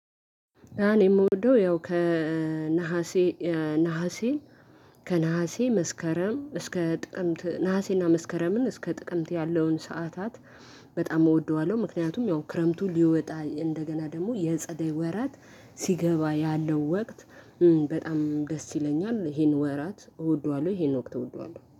እኔ የምወደው ያው ከነሀሴ ነሀሴ ከነሀሴ መስከረም እስከ ጥቅምት ነሀሴና መስከረምን እስከ ጥቅምት ያለውን ሰዓታት በጣም እወደዋለሁ። ምክንያቱም ያው ክረምቱ ሊወጣ እንደገና ደግሞ የጸደይ ወራት ሲገባ ያለው ወቅት በጣም ደስ ይለኛል። ይሄን ወራት እወደዋለሁ ይሄን ወቅት እወደዋለሁ